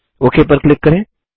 okay पर click करें